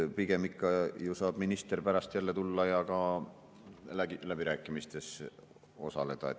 Pigem ikka ju saab minister pärast jälle tulla ja ka läbirääkimistes osaleda.